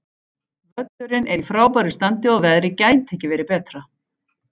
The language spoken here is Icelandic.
Völlurinn er í frábæru standi og veðrið gæti ekki verið betra.